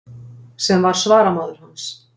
Sem var svaramaður hans.